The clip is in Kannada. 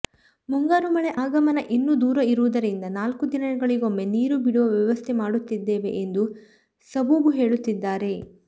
ಮುಂಗಾರು ಮಳೆ ಆಗಮನ ಇನ್ನೂ ದೂರ ಇರುವುದರಿಂದ ನಾಲ್ಕು ದಿನಗಳಿಗೊಮ್ಮೆ ನೀರು ಬಿಡುವ ವ್ಯವಸ್ಥೆ ಮಾಡುತ್ತಿದ್ದೇವೆ ಎಂದು ಸಬೂಬು ಹೇಳುತ್ತಿದ್ದಾರೆ